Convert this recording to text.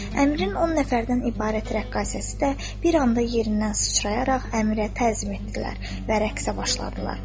Əmrin on nəfərdən ibarət rəqqasəsi də bir anda yerindən sıçrayaraq əmirə təzim etdilər və rəqsə başladılar.